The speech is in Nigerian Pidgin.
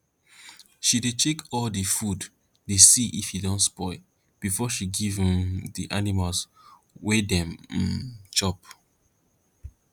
she dey check all di food dey see if e don spoil before she give um di animals wey dem um chop